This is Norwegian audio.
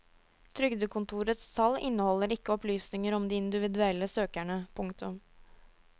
Trygdekontorets tall inneholder ikke opplysninger om de individuelle søkerne. punktum